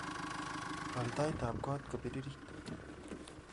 Waal taitab koot kopiririt